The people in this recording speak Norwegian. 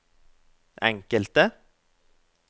enkelte